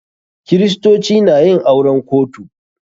Kiristoci na yin auren kotu.